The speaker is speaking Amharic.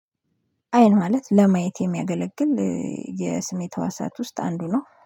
አይን ማለት ለማየት የሚያገለግል። የስሜት ተዋሳት ውስጥ አንዱ ነው